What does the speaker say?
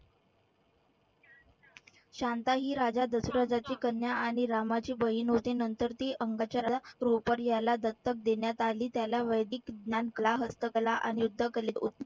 शांता ही राजा दशरथाची कन्या आणि रामाची बहीण होती. नंतर ती याला दत्तक देण्यात आली. त्याला वैदिक ज्ञान कला, हस्तकला अन युद्ध